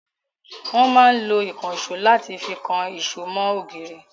Wọn máa ń lo ìkansò láti fi kan èṣó mọ ògiri